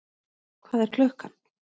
Hvað er klukkan?